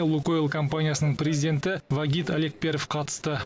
лукойл компаниясының президенті вагит алекперов қатысты